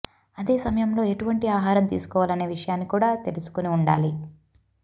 అదే సమయంలో ఎటువంటి ఆహారం తీసుకోవాలనే విషయాన్ని కూడా తెలుసుకుని ఉండాలి